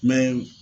Mɛ